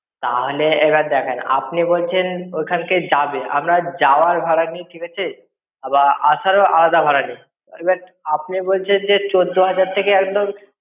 তাহলে, এবার দেখেন, আপনি বলছেন ওখান থেকে যাবেন। আমরা যাওয়ার ভাড়া নি, ঠিক আছে। আবার আসারও আধা ভাড়া নি, এবার আপনি বলছেন যে চোদ্দ হাজার থেকে একদম।